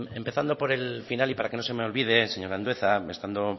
empezando por el final y para que no se me olvide señor andueza estando